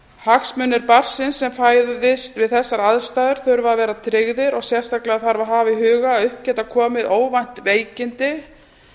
hagsmunir barnsins sem fæðist við þessar aðstæður þurfa að vera tryggðir og sérstaklega þarf að hafa í huga að upp geta komið óvænt veikindi